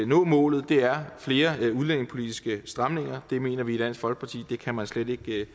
nå målet er flere udlændingepolitiske stramninger det mener vi i dansk folkeparti slet ikke